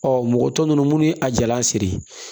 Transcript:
Ɔ mɔgɔ tɔ ninnu munnu ye a jalan siri